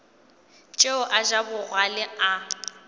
tšeo a ja bogale a